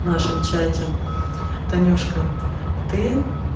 в нашем чате танюшка ты